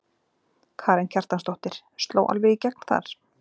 Karen Kjartansdóttir: Sló alveg í gegn þar?